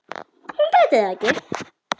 Hún gæti það ekki.